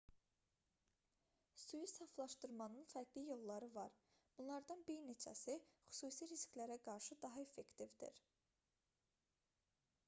suyu saflaşdırmanın fərqli yolları var bunlardan bir neçəsi xüsusi risklərə qarşı daha effektivdir